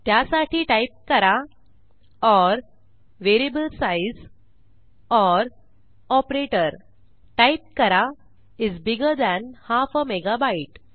त्यासाठी टाईप करा or variable size or operator type करा is bigger than half a megabyte